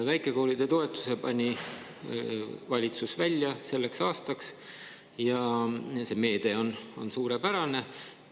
Väikekoolide toetuse pani valitsus välja selleks aastaks ja see meede on suurepärane.